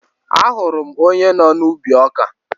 Ahụrụ m onye nọ n'ubi ọkà